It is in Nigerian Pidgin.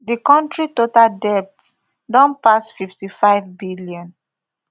di kontri total debt don pass fifty-fivebn